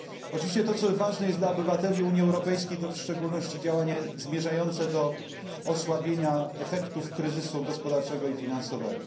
Oczywiście to, co jest ważne dla obywateli Unii Europejskiej, to w szczególności działanie zmierzające do osłabienia efektów kryzysu gospodarczego i finansowego.